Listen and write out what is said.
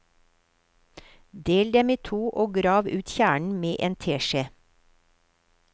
Del dem i to, og grav ut kjernen med en teskje.